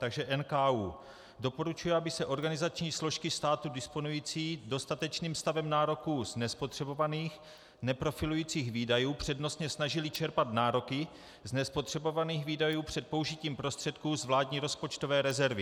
Takže NKÚ doporučuje, aby se organizační složky státu disponující dostatečným stavem nároků z nespotřebovaných, neprofilujících výdajů přednostně snažily čerpat nároky z nespotřebovaných výdajů před použitím prostředků z vládní rozpočtové rezervy.